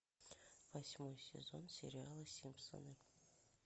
восьмой сезон сериала симпсоны